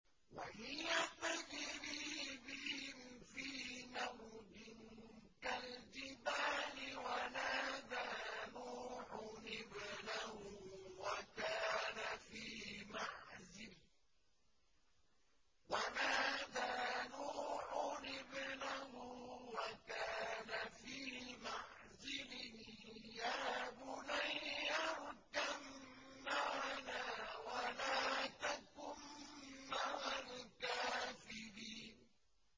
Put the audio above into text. وَهِيَ تَجْرِي بِهِمْ فِي مَوْجٍ كَالْجِبَالِ وَنَادَىٰ نُوحٌ ابْنَهُ وَكَانَ فِي مَعْزِلٍ يَا بُنَيَّ ارْكَب مَّعَنَا وَلَا تَكُن مَّعَ الْكَافِرِينَ